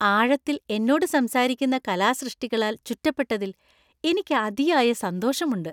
ആഴത്തില്‍ എന്നോട് സംസാരിക്കുന്ന കലാസൃഷ്‌ടികളാൽ ചുറ്റപ്പെട്ടതിൽ എനിക്ക് അതിയായ സന്തോഷമുണ്ട്.